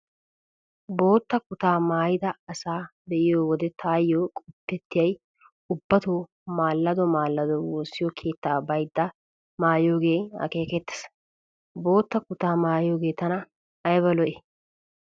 Bootta kutaa maayida asaa be'iyo wode taayo qopettiyay ubbatoo maallado maallado woossiyo keettaa baydda maayiyoogee akeekettees. Bootta kutaa maayiyoogee tana ayba lo'ii.